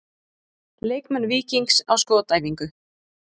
Leikmenn Víkings á skotæfingu.